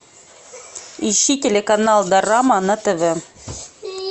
ищи телеканал дорама на тв